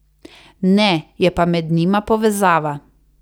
Ne, je pa med njima povezava.